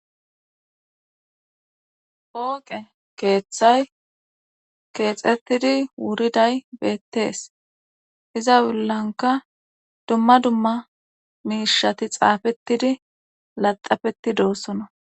Pooqe keeththay keexettidi wuriday beettees iza wullanka dumma dumma miishati xaafettidi laxafetti doossona